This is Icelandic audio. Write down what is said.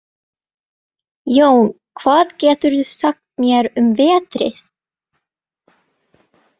Jón, hvað geturðu sagt mér um veðrið?